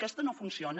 aquesta no funciona